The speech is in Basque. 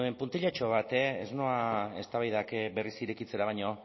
puntilatxo bat ez noa eztabaidak berriz irekitzera baina